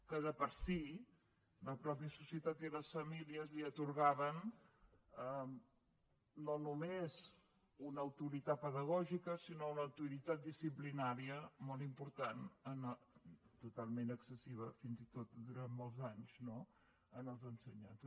que per si la mateixa societat i les famílies atorgaven no només una autoritat pedagògica sinó una autoritat disciplinària molt important totalment excessiva fins i tot durant molts anys no als ensenyants